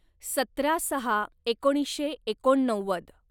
सतरा सहा एकोणीसशे एकोणनव्वद